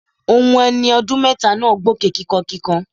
Ohun ẹni ọdún mẹ́ta náà gbóké kíkankíkan.